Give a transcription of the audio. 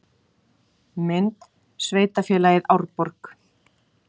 Mynd: Sveitarfélagið Árborg